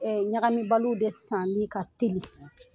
Ɛ ɲagami biliw de sanni ka telin.